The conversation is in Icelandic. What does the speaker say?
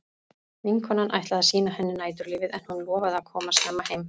Vinkonan ætlaði að sýna henni næturlífið en hún lofaði að koma snemma heim.